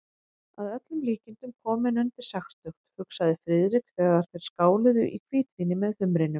Að öllum líkindum kominn undir sextugt, hugsaði Friðrik, þegar þeir skáluðu í hvítvíni með humrinum.